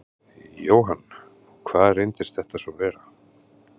Jóhann: Hvað reyndist þetta svo vera?